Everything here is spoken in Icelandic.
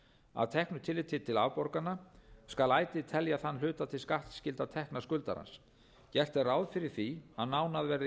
að teknu tilliti til afborgana skal ætíð telja þann hluta til skattskyldra tekna skuldarans gert er ráð fyrir því að nánar verði kveðið á